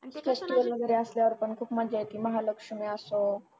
आणि ते festival वगैरे असल्यावर पण खूप मजा येते महालक्ष्मी असो